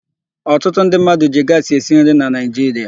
Ọtụtụ ndị mmadụ ji gaasị esi nri na Naịjiria.